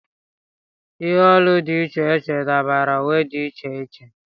Ihe olu dị iche iche dabara uwe dị iche iche.